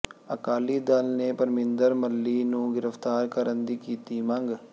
ਅਕਾਲੀ ਦਲ ਨੇ ਪਰਮਿੰਦਰ ਮੱਲ੍ਹੀ ਨੂੰ ਗਿ੍ਫ਼ਤਾਰ ਕਰਨ ਦੀ ਕੀਤੀ ਮੰਗ